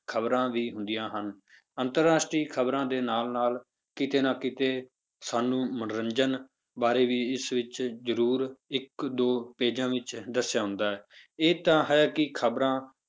ਖ਼ਬਰਾਂ ਵੀ ਹੁੰਦੀਆਂ ਹਨ ਅੰਤਰ ਰਾਸ਼ਟਰੀ ਖ਼ਬਰਾਂ ਦੇ ਨਾਲ ਨਾਲ ਕਿਤੇ ਨਾ ਕਿਤੇ ਸਾਨੂੰ ਮੰਨੋਰੰਜਨ ਬਾਰੇ ਵੀ ਇਸ ਵਿੱਚ ਜ਼ਰੂਰ ਇੱਕ ਦੋ pages ਵਿੱਚ ਦੱਸਿਆ ਹੁੰਦਾ ਹੈ ਇਹ ਤਾਂ ਹੈ ਕਿ ਖ਼ਬਰਾਂ